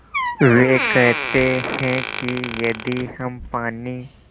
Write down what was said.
वे कहते हैं कि यदि हम पानी